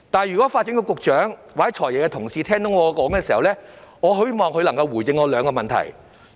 如果發展局局長或"財爺"的同事聽到我的發言，我希望他們可以回應以下兩點。